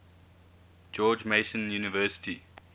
george mason university